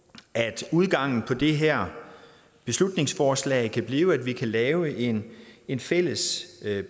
at udgangen på det her beslutningsforslag kan blive at vi kan lave en en fælles